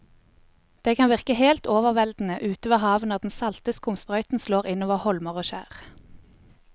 Det kan virke helt overveldende ute ved havet når den salte skumsprøyten slår innover holmer og skjær.